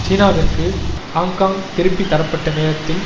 சீனாவிற்கு ஹாங்க்காங் திருப்பி தரப்பட்ட நேரத்தில்